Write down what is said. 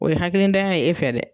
O ye hakilitanya ye e fɛ dɛ.